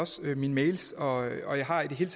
mine mails og jeg har i det hele